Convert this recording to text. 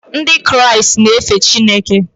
Ndị Kraịst na-efe Chineke.